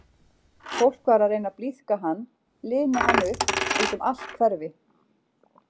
Fólk var að reyna að blíðka hann, lina hann upp, út um allt hverfi.